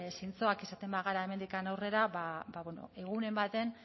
zintzoak izaten bagara hemendik aurrera ba bueno egunen baten